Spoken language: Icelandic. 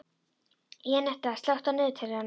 Jenetta, slökktu á niðurteljaranum.